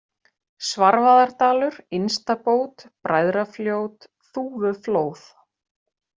Svarfaðardalur, Innstabót, Bræðrafljót, Þúfuflóð